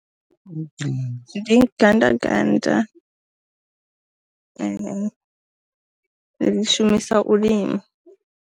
Ndi gandaganda, ri ḽi shumisa u lima.